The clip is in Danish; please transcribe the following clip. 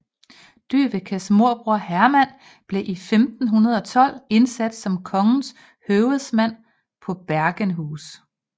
Dyvekes morbror Herman blev i 1512 indsat som kongens høvedsmand på Bergenhus